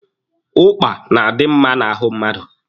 Ụkpa na-adi mma n'ahụ mmadụ.